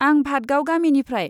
आं भादगाव गामिनिफ्राय।